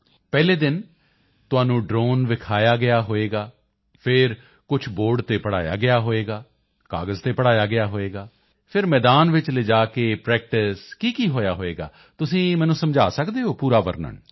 ਪਹਿਲੇ ਦਿਨ ਤੁਹਾਨੂੰ ਡ੍ਰੋਨ ਵਿਖਾਇਆ ਹੋਵੇਗਾ ਫਿਰ ਕੁਝ ਬੋਰਡ ਤੇ ਪੜ੍ਹਾਇਆ ਗਿਆ ਹੋਵੇਗਾ ਕਾਗਜ਼ ਤੇ ਪੜ੍ਹਾਇਆ ਗਿਆ ਹੋਵੇਗਾ ਫਿਰ ਮੈਦਾਨ ਵਿੱਚ ਲਿਜਾ ਕੇ ਪ੍ਰੈਕਟਿਸ ਕੀਕੀ ਹੋਇਆ ਹੋਵੇਗਾ ਤੁਸੀਂ ਮੈਨੂੰ ਸਮਝਾ ਸਕਦੇ ਹੋ ਪੂਰਾ ਵਰਨਣ